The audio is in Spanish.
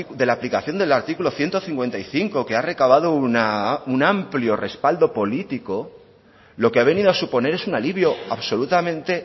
de la aplicación del artículo ciento cincuenta y cinco que ha recabado un amplio respaldo político lo que ha venido a suponer es un alivio absolutamente